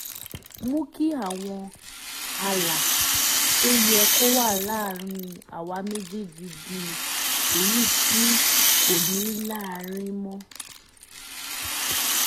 mú kí àwọn ààlà tó yẹ kó wà láàárín àwa méjèèjì di èyí tí kò ní láárí mọ́